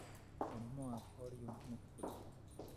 Mũrimũ wa polio nĩ ũrĩkũ?